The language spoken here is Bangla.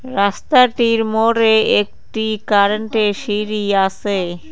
রাস্তাটির মোড়ে একটি কারেন্টের সিঁড়ি আসে।